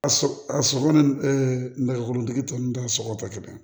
A sɔgɔ a sɔngɔ ni ɛɛ nɛgɛkɔrɔtigi tɔ ninnu ta sɔgɔ tɛ kelen ye